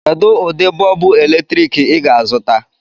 Kedu ụdị bọọbụ eletrik ị ga-azụta?